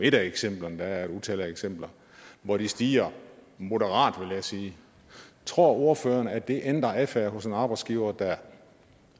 et af eksemplerne der er et utal af eksempler hvor de stiger moderat vil jeg sige tror ordføreren så at det ændrer adfærden hos en arbejdsgiver der